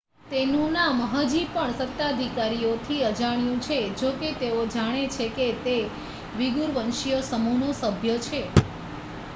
તેનું નામ હજી પણ સત્તાધિકારીઓથી અજાણ્યું છે જોકે તેઓ જાણે છે કે તે વીગૂર વંશીય સમૂહનો સભ્ય છે